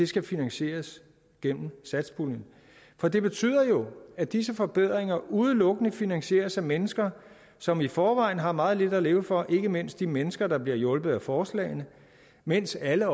skal finansieres gennem satspuljen for det betyder jo at disse forbedringer udelukkende finansieres af mennesker som i forvejen har meget lidt at leve for det gælder ikke mindst de mennesker der bliver hjulpet af forslagene mens alle